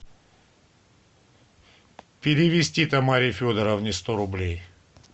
перевести тамаре федоровне сто рублей